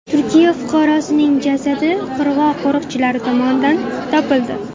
Turkiya fuqarosining jasadi qirg‘oq qo‘riqchilari tomonidan topildi.